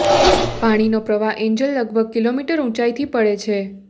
પાણીનો પ્રવાહ એન્જલ લગભગ કિલોમીટર ઊંચાઇ પરથી પડે છે